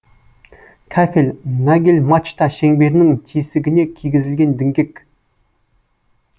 кафель нагель мачта шеңберінің тесігіне кигізілген діңгек